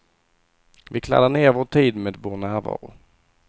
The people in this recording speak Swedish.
Vi kladdar ner vår tid med vår närvaro.